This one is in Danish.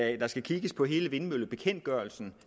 at der skal kigges på hele vindmøllebekendtgørelsen